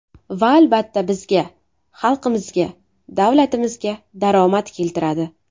Va albatta, bizga, xalqimizga, davlatimizga daromad keltiradi.